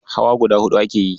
Hawa guda huɗu ake yi.